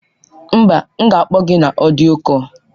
Mba, m ga-akpọ gị na ọdịyo kọl.